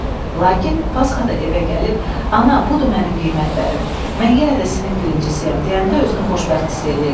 Lakin pasxa da evə gəlib, ana, budur mənim qiymətlərim, mən yenə də sinif birincisiyəm deyəndə özünü xoşbəxt hiss eləyirdi.